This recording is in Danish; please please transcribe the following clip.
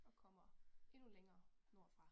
Og kommer endnu længere nordfra